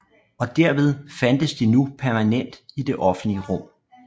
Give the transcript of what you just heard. Og derved fandtes de nu permanent i det offentlige rum